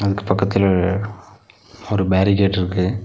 இதுக்கு பக்கத்துல ஒரு பேரிகேட் இருக்கு.